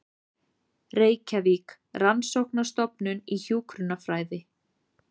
Reykjavík: Rannsóknarstofnun í hjúkrunarfræði.